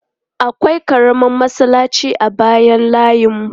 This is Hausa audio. Akwai ƙaramar masallaci a bayan layinmu.